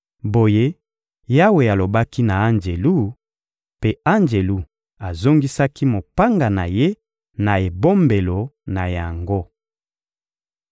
Boye Yawe alobaki na anjelu, mpe anjelu azongisaki mopanga na ye na ebombelo na yango.